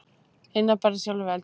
Einar barðist sjálfur við eldinn.